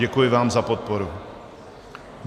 Děkuji vám za podporu.